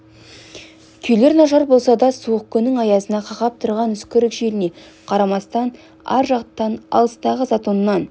күйлері нашар болса да суық күннің аязына қақап тұрған үскірік желіне қарамастан ар жақтан алыстағы затоннан